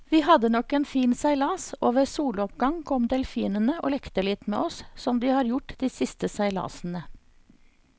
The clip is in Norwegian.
Vi hadde nok en fin seilas, og ved soloppgang kom delfinene og lekte litt med oss som de har gjort de siste seilasene.